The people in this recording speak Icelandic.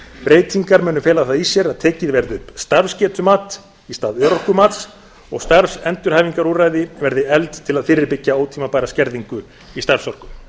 breytingar munu fela það í sér að tekið verði upp starfsgetumat í stað örorkumats og starfsendurhæfingarúrræði verði efld til að fyrirbyggja ótímabæra skerðingu í starfsorku